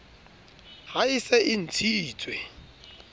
ha e se e ntshitswe